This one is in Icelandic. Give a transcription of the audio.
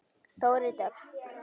Þórey Dögg.